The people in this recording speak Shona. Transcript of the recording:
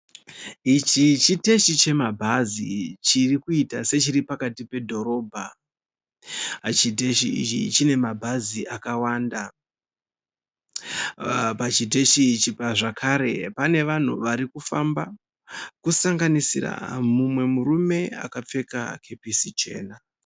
Ichi chiteshi chemabhazi chiri kuita sechiri pakati pedhorobha. Chiteshi ichi chine mabhazi akawanda. Pachiteshi apa zvakare pane vanhu vari kufamba kusanganisira mumwe murume akapfeka kepesi chena.